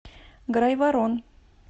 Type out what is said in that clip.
грайворон